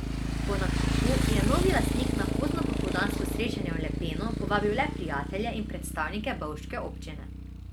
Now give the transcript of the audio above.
Po nakupu je novi lastnik na poznopopoldansko srečanje v Lepeno povabil le prijatelje in predstavnike bovške občine.